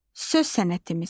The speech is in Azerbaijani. Söz sənətimiz.